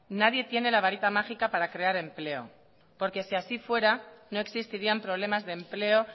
nadie tiene la varita mágica para crear empleo porque si así fuera no existirían problemas de empleo